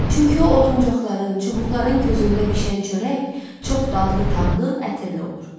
Çünki o oduncaqların, çubuqların közündə bişən çörək çox dadlı tamlı, ətirli olur.